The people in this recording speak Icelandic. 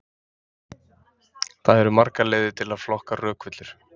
Það eru margar leiðir til að flokka rökvillur.